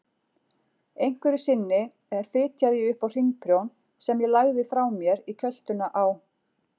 Einhverju sinni fitjaði ég upp á hringprjón sem ég lagði frá mér í kjöltuna á